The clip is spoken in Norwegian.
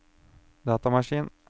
datamaskin